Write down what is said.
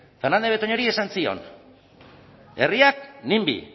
fernandez de betoñori esan zion herriak nimby